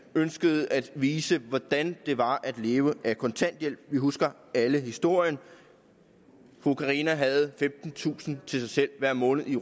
ønskede at vise hvordan det var at leve af kontanthjælp vi husker alle historien carina havde femtentusind til sig selv hver måned i